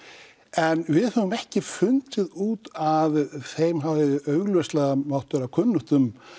en við höfum ekki fundið út að þeim hafi augljóslega mátt að vera kunnugt um